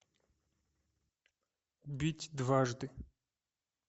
бить дважды